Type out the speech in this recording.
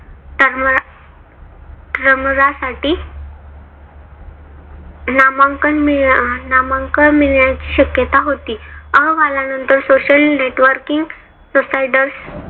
तर्मा term साठी नामांकन मिळ नामांकन मिळण्याची शक्यता होती. अहवाला नंतर social networking providers